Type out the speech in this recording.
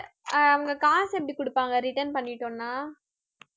ஆஹ் அவங்க காசு எப்படி கொடுப்பாங்க return பண்ணிட்டோம்னா